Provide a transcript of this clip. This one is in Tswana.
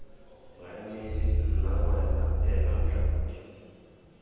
maemedi nna wena ena matlhaodi